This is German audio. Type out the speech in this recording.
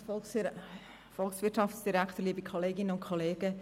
Ich stochere heute im Nebel.